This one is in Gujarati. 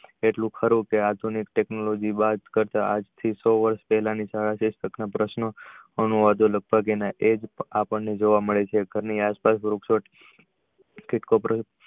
એટલું ખરું કે આધુનિક technology બાદ આજ થી સો વર્ષ પેલા પ્રશ્ન અનુવાદી ને લગભગ એ જ જોવા મળે છે સૌ ની આસપાસ